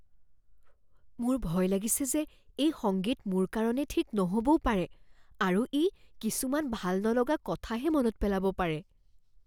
মোৰ ভয় লাগিছে যে এই সংগীত মোৰ কাৰণে ঠিক নহ'বও পাৰে আৰু ই কিছুমান ভাল নলগা কথাহে মনত পেলাব পাৰে।